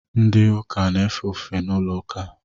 Ndị Ụka na-efe ofufe n’ụlọụka